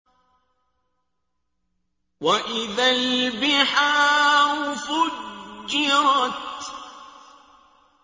وَإِذَا الْبِحَارُ فُجِّرَتْ